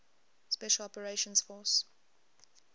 special operations force